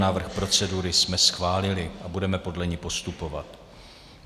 Návrh procedury jsme schválili a budeme podle ní postupovat.